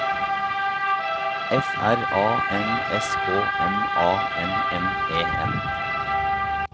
F R A N S K M A N N E N